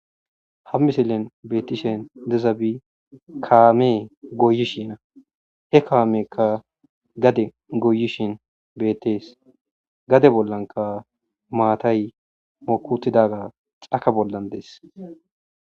Hamisillen betishe dizabi kammey goyishe dees he kammeykka gadde goyishe bettes gadde bollakka matay moki uttidaga cakka bolla dees.